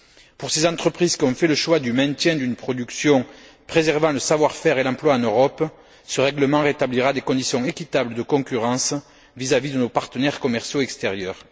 Pour ces entreprises qui ont fait le choix du maintien d'une production préservant le savoir faire et l'emploi en Europe, ce règlement rétablira des conditions équitables de concurrence vis à vis de nos partenaires commerciaux extérieurs.